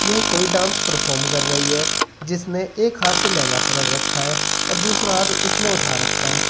यह कोई dance perform कर रही है जिसने एक हाथ से लहंगा पकड़ रखा है और दूसरा हाथ इसने उठा रखा है।